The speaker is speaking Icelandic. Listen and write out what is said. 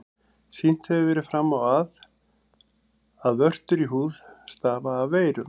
Sýnt hefur verið fram á, að vörtur í húð stafa af veirum.